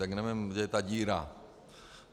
Tak nevím, kde je ta díra.